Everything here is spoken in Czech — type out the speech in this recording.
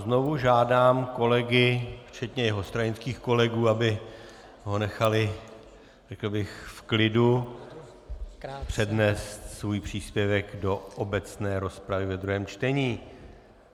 Znovu žádám kolegy, včetně jeho stranických kolegů, aby ho nechali, řekl bych, v klidu přednést svůj příspěvek do obecné rozpravy v druhém čtení.